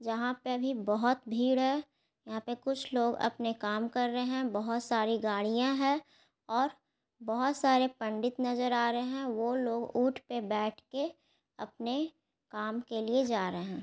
जहां पे अभी बहोत भीड़ है यहां पे कुछ लोग अपने काम कर रहे है बोहोत सारी गाड़िया है और बहोत सारे पंडित नजर आ रहे है वो लोग ऊंट पे बैठ के अपने काम के लिए जा रहे है।